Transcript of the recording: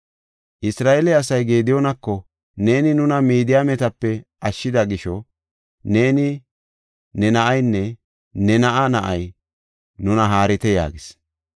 Isra7eele asay Gediyoonako, “Neeni nuna Midiyaametape ashshida gisho neeni, ne na7aynne ne na7aa na7ay nuna haarite” yaagis.